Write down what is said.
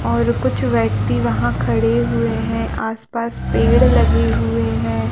और कुछ व्यक्ति वहाँ खड़े हुए है आस -पास पेड़ लगे हुए हैं ।